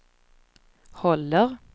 håller